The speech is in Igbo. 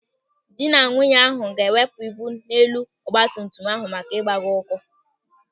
Dị na nwunye ahụ ga-ewepụ ibu n'elu ọgbatumtum ahụ maka ịgbagọ ụkwụ.